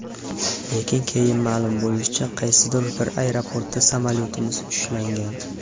Lekin, keyin ma’lum bo‘lishicha, qaysidir bir aeroportda samolyotimiz ushlangan.